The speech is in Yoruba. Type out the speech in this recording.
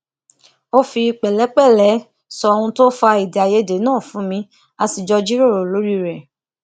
ó fi pèlépèlé sọ ohun tó fa èdèàìyedè náà fún mi a sì jọ jíròrò lórí rè